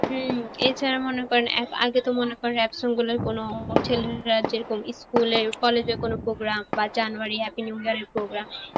হম এছাড়া মনে করেন অ্যাঁ আগে তো মনে করেন rap song গুলোয় কোনো ছেলেরা যেমন school এর college এর কোন program বা January happy new year এর program